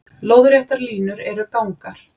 Lóðréttar línur eru gangar.